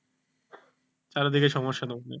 চারিদিকে সমস্যা